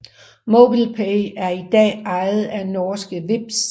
MobilePay er i dag ejet af norske Vipps